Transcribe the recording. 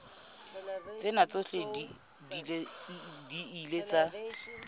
tsena tsohle di ile tsa